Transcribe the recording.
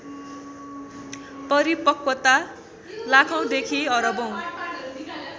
परिपक्वता लाखौँदेखि अरबौँ